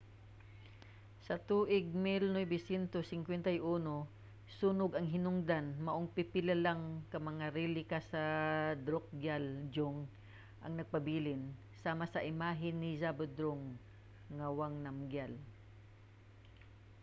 sa tuig 1951 sunog ang hinungdan maong pipila lang ka mga relika sa drukgyal dzong ang nagpabilin sama sa imahe ni zhabdrung ngawang namgyal